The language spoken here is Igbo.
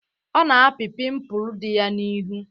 Ọ na-apị pimpụl di ya n'ihu.